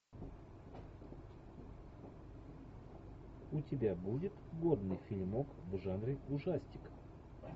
у тебя будет годный фильмок в жанре ужастик